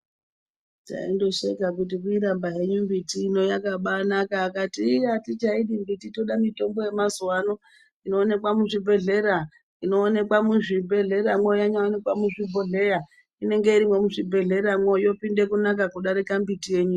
Taindosheka kuti kuitamba henyu mbiti ino yakabanaka akati iiiiii atichaidi mbiti toda mitombo yemazuwano inoonekwa muzvibhodhlera inoonekwa muzvibhodhleramwo yanyaonekwa muzvibhodhlera inenge irimwo muzvibhodhleramwo yopinde kunaka kudarika mbiti yenyu.